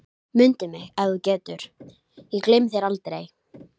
Mundu mig ef þú getur, ég gleymi þér aldrei